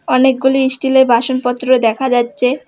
অনেকগুলি স্টিলের বাসনপত্র দেখা যাচ্ছে।